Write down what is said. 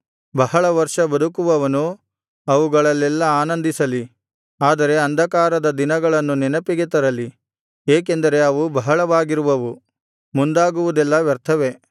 ಬಹಳ ವರ್ಷ ಬದುಕುವವನು ಅವುಗಳಲ್ಲೆಲ್ಲಾ ಆನಂದಿಸಲಿ ಆದರೆ ಅಂಧಕಾರದ ದಿನಗಳನ್ನು ನೆನಪಿಗೆ ತರಲಿ ಏಕೆಂದರೆ ಅವು ಬಹಳವಾಗಿರುವವು ಮುಂದಾಗುವುದೆಲ್ಲ ವ್ಯರ್ಥವೇ